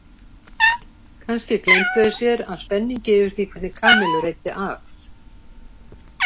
Kannski gleymdu þeir sér af spenningi yfir því hvernig Kamillu reiddi af?